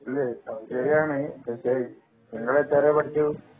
ശെരിയാണ് പക്ഷെ നിങ്ങള് എത്രെ വരെ പഠിച്ചു